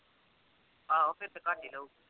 ਆਹੋ ਫਿਰ ਤੇ ਘੱਟ ਹੀ ਲਊ।